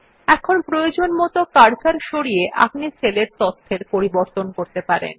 এখন প্রয়োজনমত কার্সার সরিয়ে আপনি সেল এর তথ্যের পরিবর্তন করতে পারেন